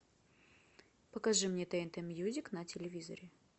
покажи мне тнт мьюзик на телевизоре